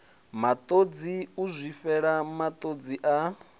matodzi u zwifhela matodzi a